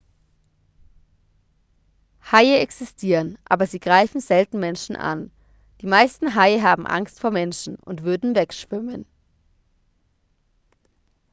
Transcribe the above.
haie existieren aber sie greifen selten menschen an die meisten haie haben angst vor menschen und würden wegschwimmen